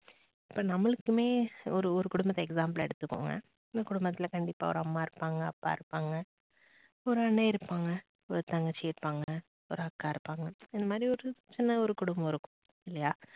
இப்ப நம்மளுக்குமே ஒரு ஒரு குடும்பத்தை example ஆ எடுத்துக்கோங்க. அந்த குடும்பத்தில் கண்டிப்பா ஒரு அம்மா இருப்பாங்க, அப்பா இருப்பாங்க, ஒரு அண்ணன் இருப்பாங்க, ஒரு தங்கச்சி இருப்பாங்க, ஒரு அக்கா இருப்பாங்க இந்த மாதிரி ஒரு சின்ன ஒரு குடும்பம் இருக்கும் இல்லையா?